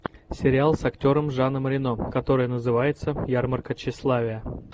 сериал с актером жаном рено который называется ярмарка тщеславия